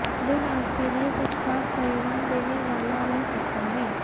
दिन आपके लिए कुछ खास परिणाम देने वाला रह सकता है